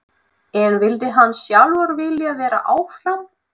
En hefði hann sjálfur viljað vera áfram?